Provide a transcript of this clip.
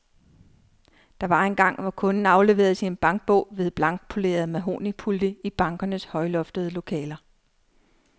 Der var engang, hvor kunden afleverede sin bankbog ved blankpolerede mahognipulte i bankernes højloftede lokaler.